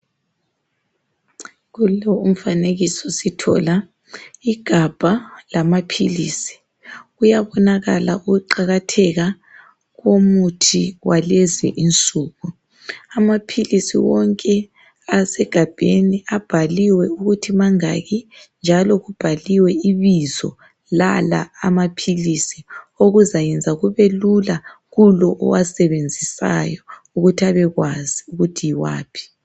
Kulo umfanekiso sithola igabha lamaphilisi kuyabonakala ukuqakatheka komuthi walezinsuku. Amaphilisi wonke asegabheni abhaliwe ukuthi mangaki njalo lebizo lamaphilisi okuzakwenza kubelula kulowo owasebenzisayo ukuthi abekwazi ukuthi yiwaphi.